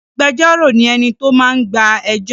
Agbẹjọ́rò ni ènìyàn tó máa ń gba ẹjọ́.